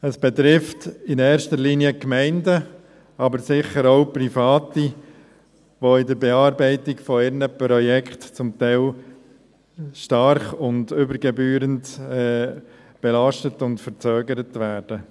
Es betrifft in erster Linie Gemeinden, aber sicher auch Private, welche in der Bearbeitung ihrer Projekte zum Teil stark und übergebührend belastet und verzögert werden.